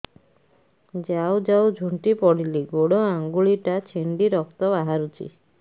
ଯାଉ ଯାଉ ଝୁଣ୍ଟି ପଡ଼ିଲି ଗୋଡ଼ ଆଂଗୁଳିଟା ଛିଣ୍ଡି ରକ୍ତ ବାହାରୁଚି